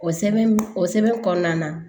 O sɛbɛn o sɛbɛn kɔnɔna na